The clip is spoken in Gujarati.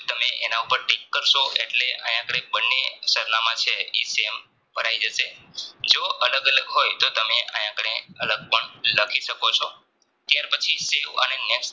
એના ઉપર ટીક કારસો એટલે આયા આપડે બને સરનામાં છે Sam થઇ પડે જશે જો અલગ અલગ હોય તો આય આપડે અલગ પણ લખી શકો છો ત્યાર પછી